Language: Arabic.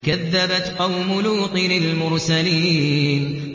كَذَّبَتْ قَوْمُ لُوطٍ الْمُرْسَلِينَ